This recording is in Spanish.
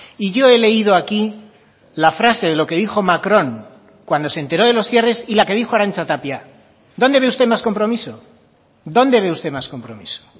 y yo he leído aquí la frase de lo que dijo macron cuando se enteró de los cierres y la que dijo arantxa tapia dónde ve usted más compromiso dónde ve usted más compromiso